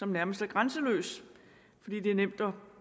nærmest er grænseløs fordi det er nemt at